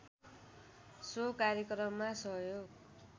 so कार्यक्रममा सहयोग